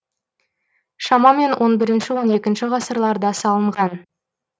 шамамен он бірінші он екінші ғасырларда салынған